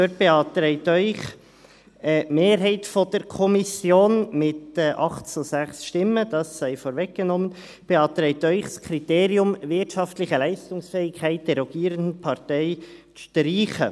Da beantragt Ihnen die Mehrheit der Kommission mit 8 zu 6 Stimmen, das sei vorweggenommen, das Kriterium «wirtschaftliche Leistungsfähigkeit der rogierenden Partei» zu streichen.